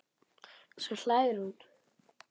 Svo hlær hún.